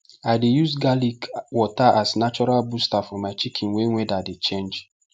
i dey use garlic water as natural booster for my chicken when weather dey change